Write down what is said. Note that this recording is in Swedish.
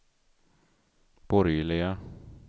borgerliga